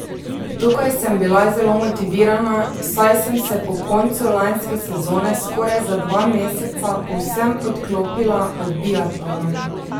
Tukaj sem bila zelo motivirana, saj sem se po koncu lanske sezone skoraj za dva meseca povsem odklopila od biatlona.